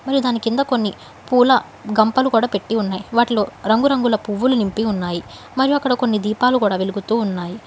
దాని కింద కొన్ని పూల గంపలు కూడా పెట్టి ఉన్నాయి వాటిలో రంగురంగుల పువ్వులు నింపి ఉన్నాయి మరియు అక్కడ కొన్ని దీపాలు కూడా వెలుగుతూ ఉన్నాయి.